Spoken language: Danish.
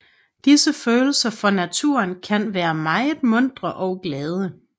Disse følelser for naturen kan være meget muntre og glade